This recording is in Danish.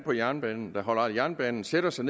på jernbanen og holder af jernbanen sætter sig